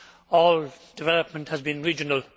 All development has been regional.